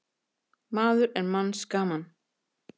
Maður er manns gaman.